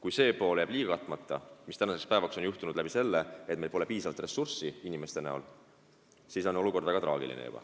Kui see pool jääb katmata, mis tänaseks päevaks ongi juhtunud, sest meil pole piisavalt inimressurssi, siis on olukord väga traagiline.